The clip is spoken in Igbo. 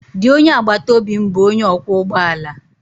Di onye agbataobi m bụ onye ọkwọ ụgbọ ala